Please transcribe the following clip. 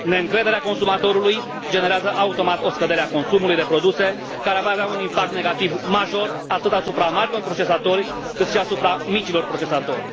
Neîncrederea consumatorului generează automat o scădere a consumului de produse care va avea un impact negativ, major, atât asupra marilor procesatori, cât și asupra micilor procesatori.